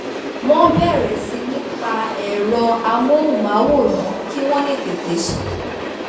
wọ́n bẹ̀rẹ̀ sí ní pa ẹ̀rọ amóhùnmáwòrán kíwọ́n le tètè sùn